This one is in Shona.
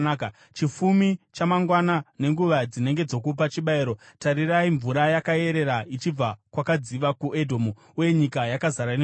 Chifumi chamangwana, nenguva dzinenge dzokupa chibayiro, tarirai, mvura yakayerera ichibva kwakadziva kuEdhomu! Uye nyika yakazara nemvura.